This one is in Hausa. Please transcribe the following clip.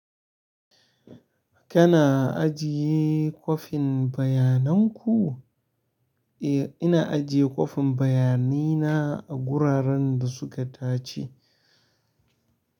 Kana ajiye kwafin bayanan ku? Eh, ina ajiye kwafin bayanai na a guraren da suka dace.